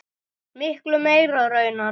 Miklu meira raunar.